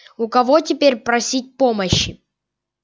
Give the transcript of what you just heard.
у кого теперь просить помощи